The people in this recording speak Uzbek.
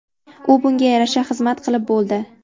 U bunga yarasha xizmat qilib bo‘ldi.